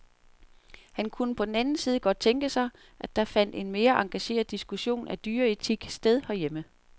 Han kunne på den anden side godt tænke sig, at der fandt en mere engageret diskussion af dyreetik sted herhjemme.